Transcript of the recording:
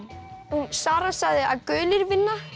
hún Sara sagði að gulir vinna